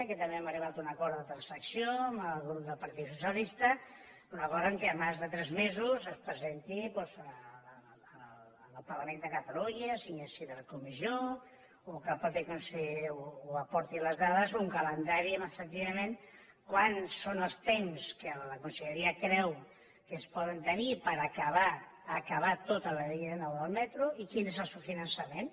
que també hem arribat a un acord de transacció amb el grup del partit socialista un acord perquè abans de tres mesos es presenti doncs al parlament de catalunya sigui al si de la comissió o que el mateix conseller aporti les dades un calendari amb efectivament quins són els temps que la conselleria creu que es poden tenir per acabar acabar tota la línia nou del metro i quin és el seu finançament